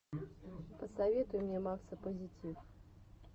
посоветуй мне макса позитив